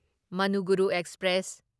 Manuguru express